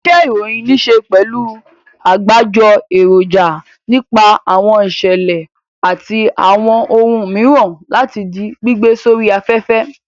Iṣẹ́-ìròyìn níṣe pẹ̀lú àgbájọ èròjà nípa àwọn ìṣẹ̀lẹ̀ àti àwọn ohun mìíràn láti di gbígbé sórí afẹ́fẹ́.